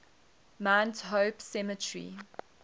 mount hope cemetery